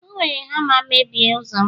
o were hama mebie ụzọ'm